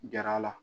Gɛrɛ a la